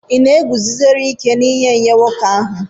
Ị na-eguzosiri ike n'ihe nye nwoke ahụ?